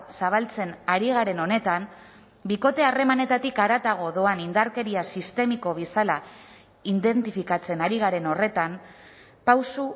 zabaltzen ari garen honetan bikote harremanetatik haratago doan indarkeria sistemiko bezala identifikatzen ari garen horretan pauso